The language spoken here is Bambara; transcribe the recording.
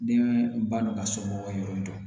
Den balo ka somɔgɔw ka yɔrɔ dɔn